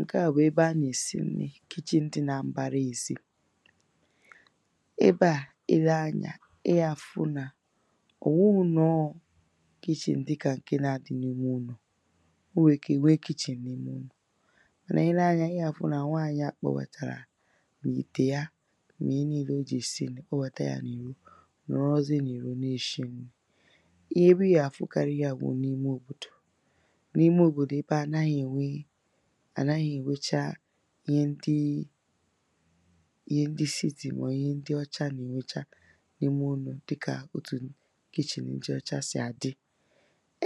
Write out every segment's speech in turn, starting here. ǹke à bụ̀ ebe ha nà-èsi nnī, kichen dị nà m̀bara ēsī ebe à i lee anyā ị gà-àfụ nà ọ̀ nwụghụ̄ na ọ wụ̀ kichen dịkà ǹke na-adị n’ime ụnọ̀ o nwèrè ike ì nwe kichen n’ime ụnọ̀ mànà i lee anyā ị gà-àfụ nà nwaànyị à gbobàtàrà mà ìtè ya nà ihe niīlē o jì èsi nnī gbobàtà yā n’ìro nọ̀rọzie n’ìro na-èshi nnī na-ebe ị gà-àfụkarị ihe à wụ̀ n’ime òbòdò n’ime òbòdò ebe à hà naghị̄ ènwe hà naghị̄ ènwecha ihe ndị ihe ndị city mà ọ̀ wụ̀ ihe ndị ọcha nà-ènwecha n’ime ụnọ̀ dịkà òtù kichen ndị ọcha sị̀ àdị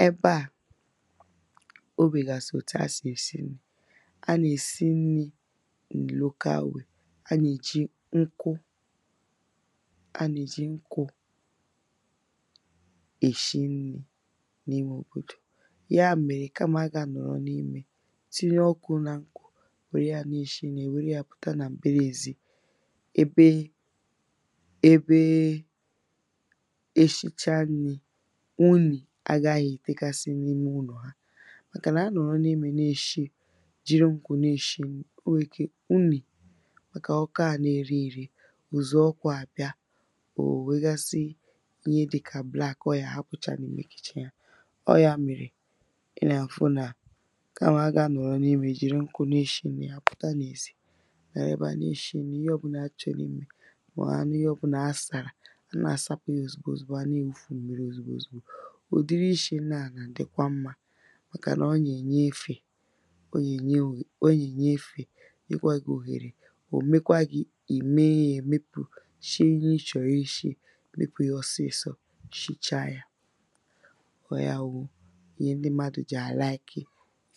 ebè à ò nwèghàsị̀ òtù ha sì èsi nnī ha nà-èsi nnī in a local way, ha nà-ej̀i nkwụ ha nà-èji nkwụ̄ èshi nnī n’ime òbòdò ya mèrè kamà ha gà-anọ̀rọ n’imē tinye ọkụ̄ nā n̄kwụ̄ nwère yā na-èshi nnī, hà nwère ya pụ̀ta nà m̀bara ēzī ebe ebe eshicha nnī unyì agāhāghị̄ ètekasị n’ime ụnọ̀ ha màkànà ha nọ̀rọ n’imē na-èshi, jiri nkwụ̄ na-èshi nnī, o nwèrè ike unyì màkà ọkụ ā na-ere ērē ùzù ọkụ à bịa, ò weghasị ihe dị̄kà black ọ gà-àhápụ̀chá n’ime kichen ahụ̀ ọ wụ̀ ya mèrè ị nà-àfụ nà kamà ha gà-anọ̀rọ n’imē jiri nkwụ̄ na-èshi nnī, hà pụ̀ta n’èzi nọ̀rọ ebe à na-èshi n̄nī, ihe ọ̄bụ̄nà ha chọ̀rọ̀ imē mà ọ̀ ihe ọ̄bụ̄nà ha sàrà hà na-àsapụ̄ yà òzìgbo òzìgbo hà na-èwufu mmirī òzìgbo òzìgbo ụ̀dịrị ishī nni à nà-àdịkwa mmā màkànà ọ nà-ènye efè ọ nà-ènye òghè ọ nà-ènye efè nyekwa gị̄ òghèrè ò mekwa gị̄ ì mee ihē mepù, shie ihe i chọ̀rọ̀ ishī mekwa yā ọsịị̄sọ̄ shicha yā ọ wụ̀ ya wụ̄ ihe ndị m̄mādụ̀ jì àlaìki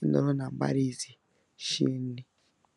ịnọ̀rọ̀ nà m̀bara ēzī shie nnī